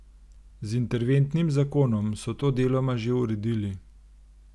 Z interventnim zakonom so to deloma že uredili.